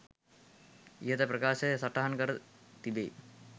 ඉහත ප්‍රකාශය සටහන් කර තිබෙයි.